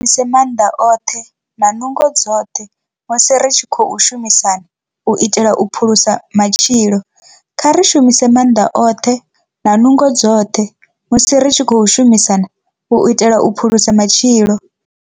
Kha ri shumise maanḓa oṱhe na nungo dzoṱhe musi ri tshi khou shumisana u itela u phulusa matshilo. Kha ri shumise maanḓa oṱhe na nungo dzoṱhe musi ri tshi khou shumisana u itela u phulusa matshilo.